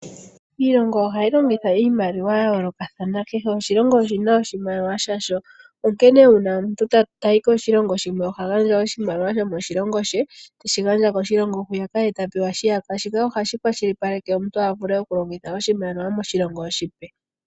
Iilongo ohayi longitha iimaliwa ya yoolokathana, kehe oshilongo oshina oshimaliwa shasho, onkene una omuntu tayi koshilongo shimwe oha gandja oshimaliwa sho moshilongo she teshi gandja koshilongo hwiyaka ye ta pewa shiyaka, shika ohashi kwashilipaleke omuntu avule okulongitha oshimaliwa moshilongo oshipe.